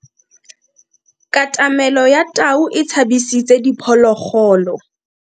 Katamelo ya tau e tshabisitse diphologolo.